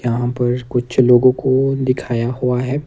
यहां पर कुछ लोगों को दिखाया हुआ है।